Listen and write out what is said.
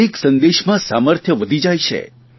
એક સંદેશમાં સામર્થ્ય વધી જાય છે